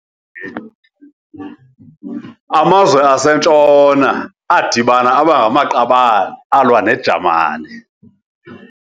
Amazwe aseNtshona adibana aba ngamaqabane alwa neJamani.